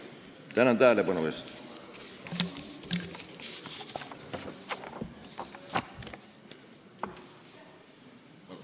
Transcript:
Tänan tähelepanu eest!